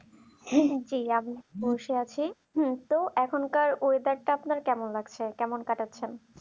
বসে আছি সো এখনকার weather আপনার কেমন লাগছে কেমন কাটাচ্ছেন